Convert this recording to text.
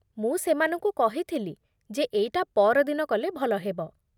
ମୁଁ ସେମାନଙ୍କୁ କହିଥିଲି ଯେ ଏଇଟା ପଅରଦିନ କଲେ ଭଲ ହେବ ।